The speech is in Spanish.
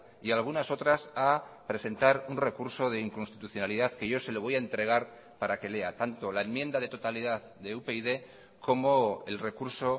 y algunas otras a presentar un recurso de inconstitucionalidad que yo se le voy a entregar para que lea tanto la enmienda de totalidad de upyd como el recurso